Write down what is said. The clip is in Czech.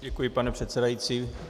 Děkuji, pane předsedající.